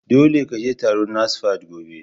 Dole ka je taron NASFAT gobe!